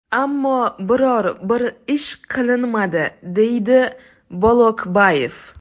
Ammo biror bir ish qilinmadi”, deydi Bolokbayev.